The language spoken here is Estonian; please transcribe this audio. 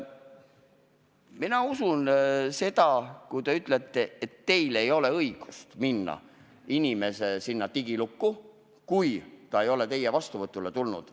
Ma usun seda, kui te ütlete, et teil ei ole õigust minna inimese digilukku, kui ta ei ole teie vastuvõtule tulnud.